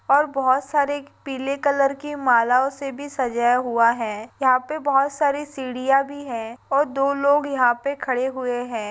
और बहुत सारे पीले कलर की मालाओं से भी सजाया हुआ है यहाँ पे बहुत सारी सीढ़ियाँ भी है और दो लोग यहाँ पे खड़े हुए हैं।